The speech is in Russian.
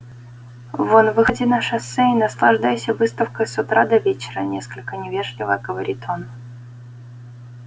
вон выходи на шоссе и наслаждайся выставкой с утра до вечера несколько невежливо говорит он